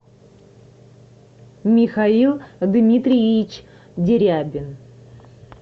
михаил дмитриевич дерябин